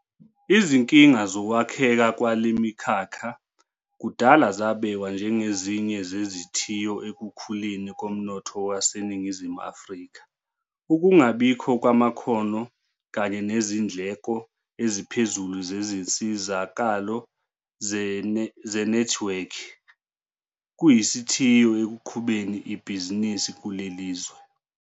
Izinkinga zokwakheka kwale mikhakha kudala zabekwa njengezinye zezithiyo ekukhuleni komnotho waseNingizimu Afrika. Ukungabikho kwamakhono kanye nezindleko eziphezulu zezinsizakalo zenethiwekhi kuyisithiyo ekuqhubeni ibhizinisi kuleli lizwe.